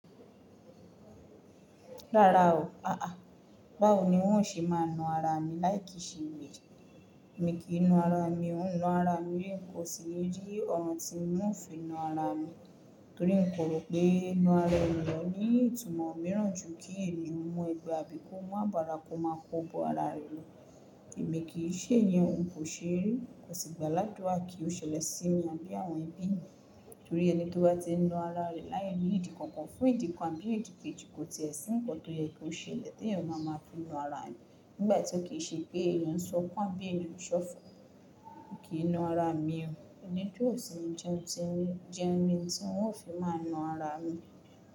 Rárá o, aà, báwo ni wọ́n o ṣe máa na ara mi láì kí ṣe ole? Èmi kìi na ara mi, ó ń na ara mi, kò sì ní rí ọ̀ràn tí wọ́n o fi na ara mi. Torí n kò rò pé na ara ẹni ní ìtumọ̀ mìíràn jù kí ènìyàn mu ẹgbẹ́ abi ko, mu abara kó máa kó bo ara rẹ̀ lọ. Ẹ̀mí kì í ṣe ẹ̀yẹn, n kò ṣe rí. Mi o sì gbà ni adura kí ó ṣẹlẹ̀ sí mi àbí àwọn ẹbí mi, torí ẹni tó bá ti ń na ara rẹ̀ láì ní ìdí kọ̀ọ̀kan fún ìdíkàn bí èdèkeji kò tiẹ̀ sí ìpọ̀ tó yẹ kó ṣe lè tí ẹ̀yàn máa máa fi na ara ẹni. Nígbà tí ó kì í ṣe pé ẹ̀yàn ń sọpọ̀ àbí ènìyàn ń ṣọ̀fọ̀. Mi kì í na ara mi o. Ẹni tó ò sì ní jẹun ti ń jẹun ni tí wọ́n o fi máa na ara mi.